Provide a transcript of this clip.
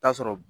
Taa sɔrɔ